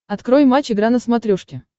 открой матч игра на смотрешке